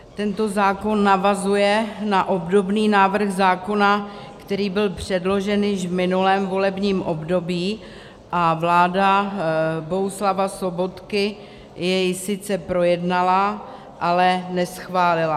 Tento zákon navazuje na obdobný návrh zákona, který byl předložen již v minulém volebním období, a vláda Bohuslava Sobotky jej sice projednala, ale neschválila.